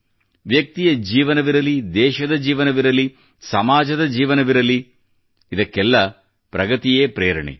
ವ್ಯಕ್ತಿಯ ಜೀವನವಿರಲಿ ದೇಶದ ಜೀವನವಿರಲಿ ಸಮಾಜದ ಜೀವನವಿರಲಿ ಇದಕ್ಕೆಲ್ಲ ಪ್ರೇರಣೆ ಪ್ರಗತಿಯ ಆಧಾರವಾಗಿರುತ್ತದೆ